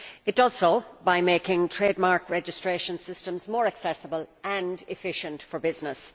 It does so by making trademark registration systems more accessible and efficient for business.